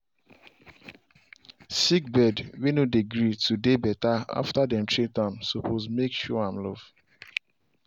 sick bird way no dey gree to dey better after dem treat am suppose make show am love.